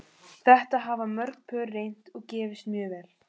Þetta hafa mörg pör reynt og gefist mjög vel.